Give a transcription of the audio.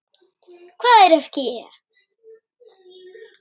Hvað er að ske?